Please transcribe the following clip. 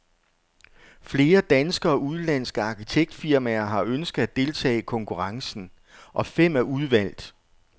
Flere danske og udenlandske arkitektfirmaer har ønsket at deltage i konkurrencen, og fem er udvalgt.